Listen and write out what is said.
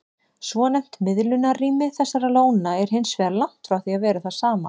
Svonefnt miðlunarrými þessara lóna er hins vegar langt frá því að vera það sama.